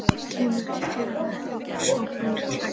Kemur til dyranna einsog hún er klædd.